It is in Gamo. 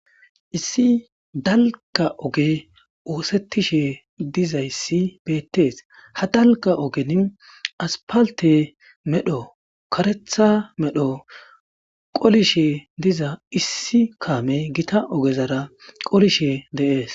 issi dalga oge oosettishe dizayssi beettees ha dalka ogen aspalte medho karetha medho qolishe diza issi kaame gita ogezara qolishe deees